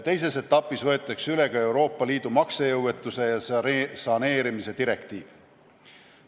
Teises etapis võetakse üle ka Euroopa Liidu maksejõuetuse ja saneerimise direktiiv.